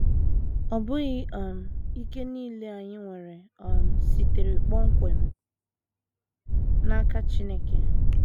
Ọ bụghị um ike nile anyị nwere um sitere kpọmkwem n’aka Chineke.